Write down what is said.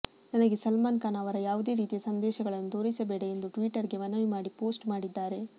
ನನಗೆ ಸಲ್ಮಾನ್ ಖಾನ್ ಅವರ ಯಾವುದೇ ರೀತಿಯ ಸಂದೇಶಗಳನ್ನು ತೋರಿಸಬೇಡ ಎಂದು ಟ್ವೀಟರ್ ಗೆ ಮನವಿ ಮಾಡಿ ಪೋಸ್ಟ್ ಮಾಡಿದ್ದಾರೆ